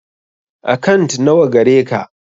Akant na wa gareka?